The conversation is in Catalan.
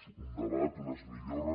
un debat unes millores